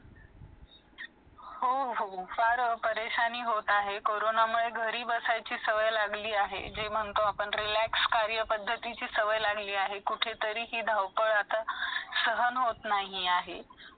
आजच्या काळात कोणालाही काहीही पाठवायचे असेल, तर तो त्या गोष्टी संगणकावर लिहून पाठवू शकतो.